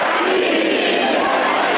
Ya Əli!